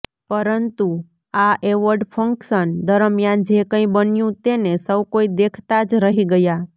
પરંતુ આ award function દરમિયાન જે કંઇ બન્યુ તેને સૌકોઇ દેખતા જ રહી ગયા